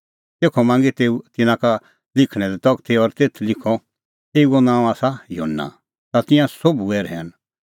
तेखअ मांगी तेऊ तिन्नां का लिखणे तगती और तेथ लिखअ एऊओ नांअ आसा युहन्ना ता तिंयां सोभ हुऐ रहैन